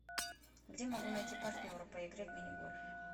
где могу найти партнера по игре в мини гольф